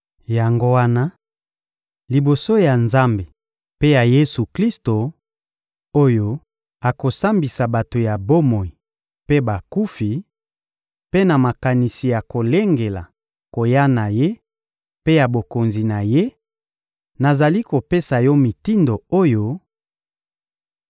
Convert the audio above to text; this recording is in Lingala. Yango wana, liboso ya Nzambe mpe ya Yesu-Klisto oyo akosambisa bato ya bomoi mpe bakufi, mpe na makanisi ya kolengela koya na Ye mpe ya Bokonzi na Ye, nazali kopesa yo mitindo oyo: